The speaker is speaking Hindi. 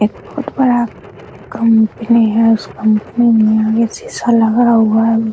यह बहुत बड़ा कंपनी है उस कंपनी में आगे शीशा लगा हुआ है।